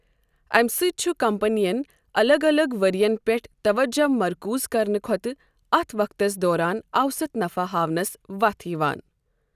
امہِ سۭتۍ چھُ كمپنین ، الگ الگ ورۍین پیٹھ توجہِ مركوٗز كرنہٕ كھوتہٕ ، اتھ وقتس دوران اوسط نفع ہاونس وتھ یوان۔